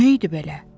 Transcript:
Bu nə idi belə?